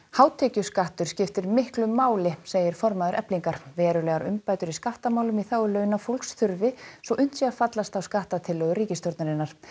hátekjuskattur skiptir miklu máli segir formaður Eflingar verulegar umbætur í skattamálum í þágu láglaunafólks þurfi svo unnt sé að fallast á skattatillögur ríkisstjórnarinnar